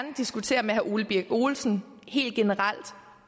diskutere med herre ole birk olesen helt generelt